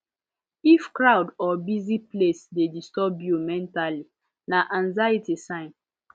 if crowd or busy place dey disturb you mentally na anxiety sign